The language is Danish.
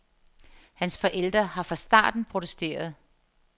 Hans forældre har fra starten protesteret.